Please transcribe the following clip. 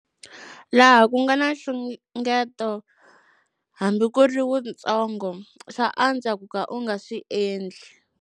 Laha ku nga na nxungeto, hambi ku ri wuntsongo, swa antswa ku ka u nga swi endli.